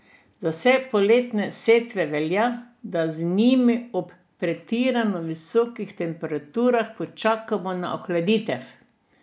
Za vse poletne setve velja, da z njimi ob pretirano visokih temperaturah počakamo na ohladitev.